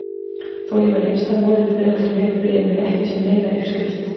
Þó ég væri einstæð móðir í Breiðholtinu upplifði ég mig ekki sem neina uppskrift.